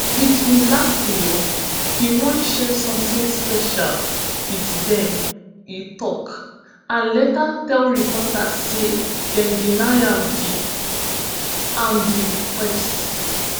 wit im last meal im wan share somtin special wit dem e tok and later tell reporters say dem deny am di am di request